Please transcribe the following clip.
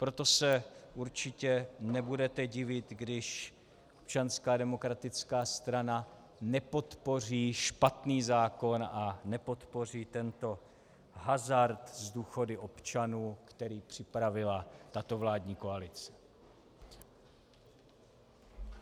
Proto se určitě nebudete divit, když Občanská demokratická strana nepodpoří špatný zákon a nepodpoří tento hazard s důchody občanů, který připravila tato vládní koalice.